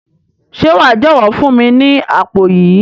Se wa jọwọ fún mi ni àpò yìí?